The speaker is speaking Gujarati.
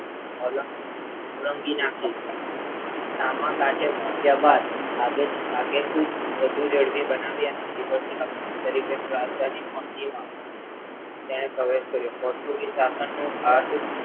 ઓલ ઓળંગી નાખી સામા કાંઠા પોહ્ચ્યા બાદ આગે આગેકૂચ વધુ ઝડપી બનાવી અને તરીકેની રાજધાની પણજીમાં તેણે પ્રવેશ કર્યો પોર્ટુગીઝ સાશનનું આધ